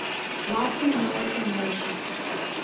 latin american nations